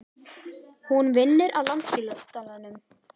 Hún vinnur á Landspítalanum.